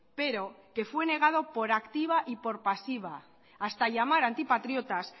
pero que fue negado por activa y por pasiva hasta llamar antipatriotas